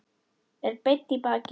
Er beinn í baki.